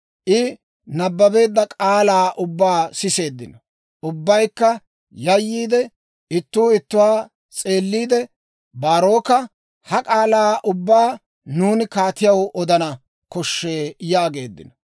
I nabbabeedda k'aalaa ubbaa siseeddino; ubbaykka yayyiide, Ittuu ittuwaa s'eelliide, Baaroka, «Ha k'aalaa ubbaa nuuni kaatiyaw odanaw koshshee» yaageeddino.